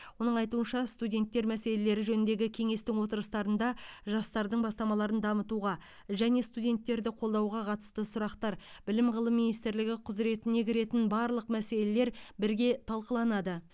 оның айтуынша студенттер мәселелері жөніндегі кеңестің отырыстарында жастардың бастамаларын дамытуға және студенттерді қолдауға қатысты сұрақтар білім ғылым министрлігі құзыретіне кіретін барлық мәселелер бірге талқыланады